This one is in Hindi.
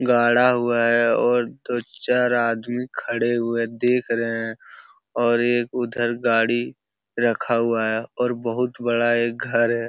गाड़ा हुआ है और दो चार आदमी खड़े हुए देख रहें हैं और एक उधर गाड़ी रखा हुआ है और बहोत बड़ा एक घर है।